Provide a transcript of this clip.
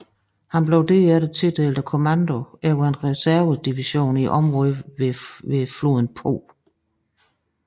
Han blev derefter tildelt kommandoen over en reservedivision i området ved floden Po